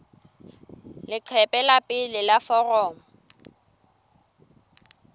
leqephe la pele la foromo